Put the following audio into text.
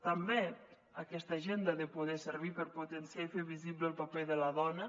també aquesta agenda ha de poder servir per potenciar i fer visible el paper de la dona